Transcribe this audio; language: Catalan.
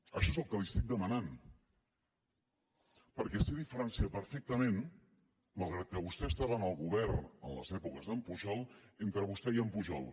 això és el que li estic demanant perquè sé diferenciar perfectament malgrat que vostè estava en el govern a les èpoques d’en pujol entre vostè i en pujol